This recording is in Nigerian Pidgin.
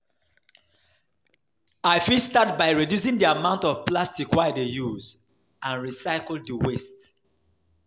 I fit start by reducing di amount of plastic wey i dey use and recycle di waste.